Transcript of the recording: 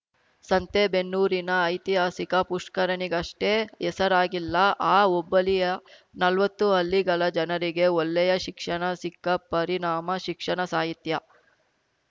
ಸಂತೇಬೆನ್ನೂರಿನ ಐತಿಹಾಸಿಕ ಪುಷ್ಕರಣಿಗಷ್ಟೇ ಹೆಸರಾಗಿಲ್ಲ ಆ ಹೋಬಳಿಯ ನಲ್ವತ್ತು ಹಳ್ಳಿಗಳ ಜನರಿಗೆ ಒಳ್ಳೆಯ ಶಿಕ್ಷಣ ಸಿಕ್ಕ ಪರಿಣಾಮ ಶಿಕ್ಷಣ ಸಾಹಿತ್ಯ